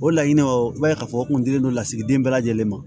O laɲiniw i b'a ye k'a fɔ o kun dilen don lasigiden bɛɛ lajɛlen ma